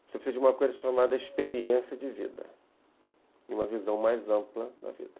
Você precisa de uma coisa chamada experiência de vida, e uma visão mais ampla da vida.